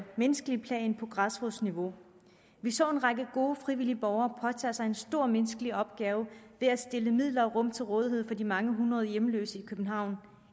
menneskelige plan på græsrodsniveau vi så en række gode frivillige borgere påtage sig en stor menneskelig opgave ved at stille midler og rum til rådighed for de mange hundrede hjemløse i københavn